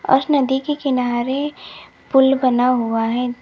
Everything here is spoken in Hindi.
उस नदी के किनारे पुल बना हुआ है।